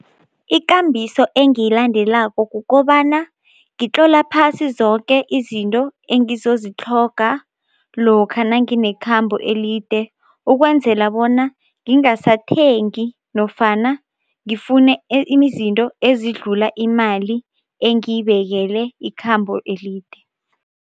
Ikambiso engiyilandelako kukobana ngikutlola phasi zoke izinto engizozitlhoga lokha nanginekhambo elide ukwenzela bona ngingasathengi nofana ngifune izinto ezidlula imali engiyibekele ikhambo elide.